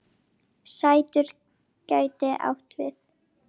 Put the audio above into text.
Surtur gæti átt við